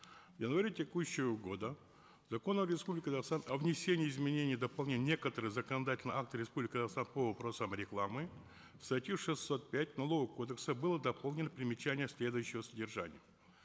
в январе текущего года в закон республики казахстан о внесении изменений и дополнений в некоторые законодательные акты республики казахстан по вопросам рекламы в статью шестьсот пять налогового кодекса было дополнено примечание следующего содержания